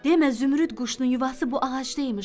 Demə zümrüd quşunun yuvası bu ağacdaymış.